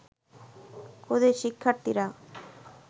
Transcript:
ক্ষুদে শিক্ষার্থীরা